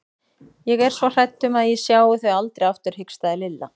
Ég er svo hrædd um að ég sjái þau aldrei aftur hikstaði Lilla.